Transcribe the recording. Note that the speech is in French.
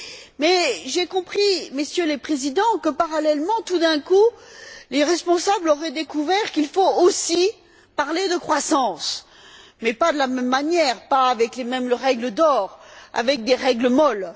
Mais j'ai compris, Messieurs les Présidents, que parallèlement, tout d'un coup, les responsables auraient découvert qu'il faut aussi parler de croissance, mais pas de la même manière, pas avec les mêmes règles d'or, avec des règles molles.